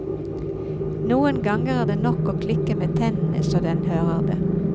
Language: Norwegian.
Noen ganger er det nok å klikke med tennene så den hører det.